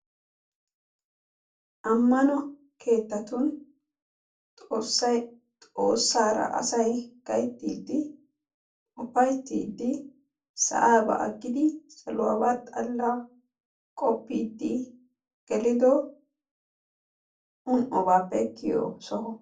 ammano keettatun xoossay, xoossaara asay gayttiidi, ufaytiidi sa'aabaa agidi saluwaaba xala qopiidi erido woykko awaajettiyo soho.